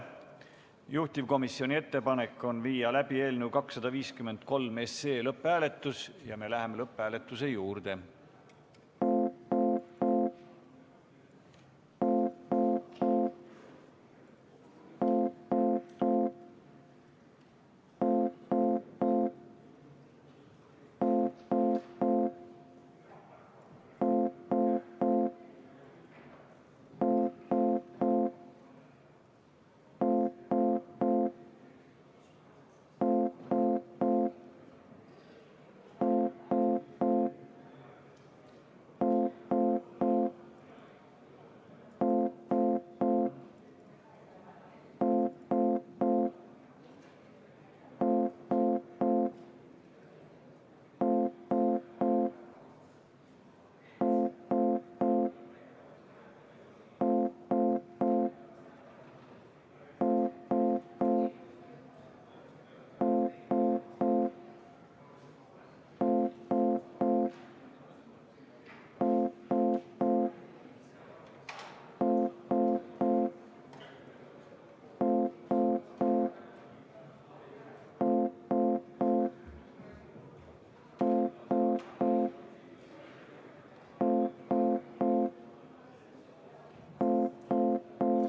Juhtivkomisjoni ettepanek on viia läbi eelnõu 253 lõpphääletus ja me läheme selle juurde.